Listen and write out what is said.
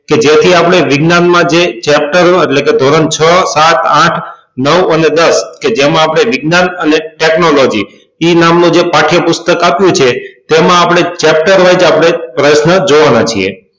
કે જેથી અપડે વિજ્ઞાન માં જે chapter એટલે કે ધોરણ છ સાત આઠ નવ અને દસ કે જેમાં અપડે વિજ્ઞાન અને technology એ નામ નું જે પાઠ્યપુસ્તક આપ્યું છે તેમાં આપડે chapter આપડે પ્રશ્નો જોવા ના છીએ